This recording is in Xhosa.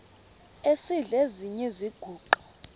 esidl eziny iziguqa